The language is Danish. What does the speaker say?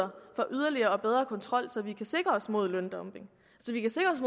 yderligere og bedre kontrol så vi kan sikre os mod løndumping